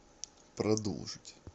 продолжить